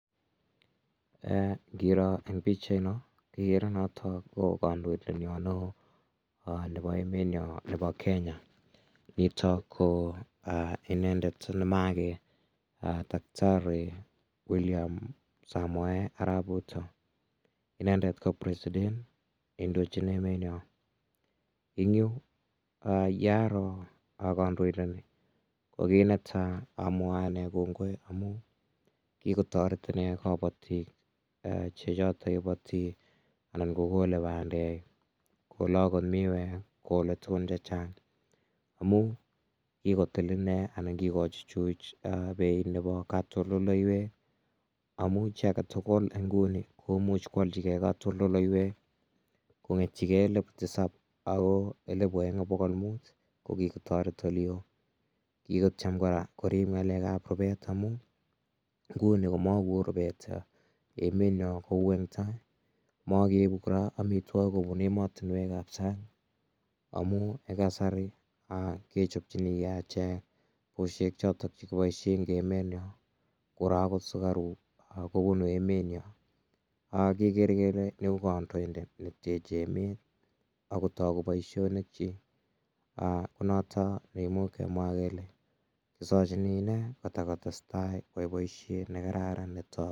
ngiro en pichainon igere notok ko kandoindet nyon neeoo nepo emenyon nepo kenya nitok koo inendet nemaage Dakitari William Samoei arap Ruto inenendet ko presiten neindochin emenyon en yuu ya aro kondoinndet kokinetaa amwae kongoi kikotoret nee kabotik chechotok koboti anan kokole bandek kole alak miwek kole tugun chechang amun kikotil inne anan kikochuchuch inee peit katoldoiwek amun chi agetugul iguni komuch ko alchigee katoldoiwek kong'eten elipu tisab agoi elipu oen ak bogol mut kigotoret oleoo kikotiem kora korip ng'alek ap rubet amun nguni komekoo rubet emenyon kou en taa mokeibu kora amitwokik kobun emotinwek ab sang amun en kasari kechobchinige echek bushek choton che kiboishen en emenyon ako kora sukaruk kobunu emenyon ak kikere kele iku kandoindet neteche emenyon ako kotogu boishonikkyik aknoto kimuch kemwa kele kesochini inendet kotakotestai koyai boishen nekararan netogu